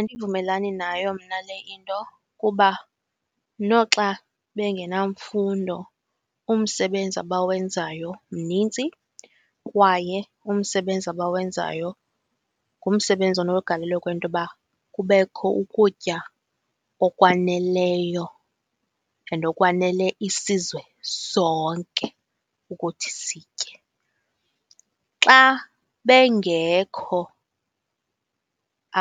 Andivumelani nayo mna le into kuba noxa bengenamfundo umsebenzi abawenzayo mninzi kwaye umsebenzi abawenzayo ngumsebenzi onogalelo kwintoba kubekho ukutya okwaneleyo and okwanele isizwe sonke ukuthi sitye. Xa bengekho